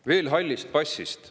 Veel hallist passist.